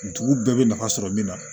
Dugu bɛɛ bɛ nafa sɔrɔ min na